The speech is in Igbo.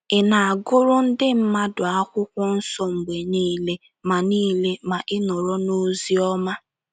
Ị̀ na - agụrụ ndị mmadụ akwụkwọ nsọ mgbe niile ma niile ma ị nọrọ n’ozi ọma?